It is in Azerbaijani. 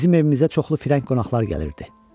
Bizim evimizə çoxlu firəng qonaqlar gəlirdi.